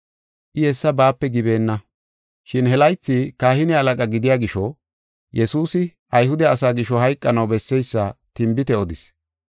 I hessa baape gibeenna. Shin he laythi kahine halaqa gidiya gisho, Yesuusi Ayhude asaa gisho hayqanaw besseysa tinbite odis.